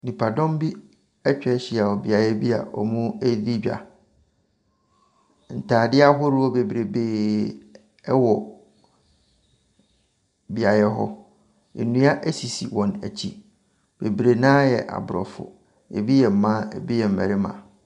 Nnipadɔm bi atwa ahyia wɔ beaeɛ bi a wɔredi dwa, ntaadeɛ ahodoɔ bebrebee wɔ beaeɛ hɔ, nnua sisi wɔn akyi. Bebree no ara yɛ aborɔfo. Bi yɛ mmaa, bi yɛ mmarima.